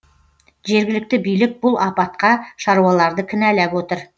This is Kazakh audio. жергілікті билік бұл апатқа шаруаларды кінәлап отыр